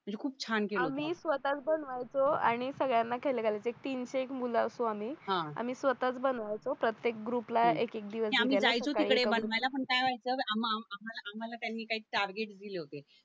म्हणजे खूप छान केलं होतं आम्ही स्वतःच बनवायचो आणि सगळ्यांना खायाला घालायचं एक तीनशे एक मुल असो आम्ही आम्ही स्वतःच बनवायचो प्रत्येक ग्रुपला एक एक दिवस ओव्हरलॅप आम्ही जायचो तिकडे बनवायला पण काय व्हायचं आम्हा आम्हा आम्हाला काय न काय टारगेट दिले होते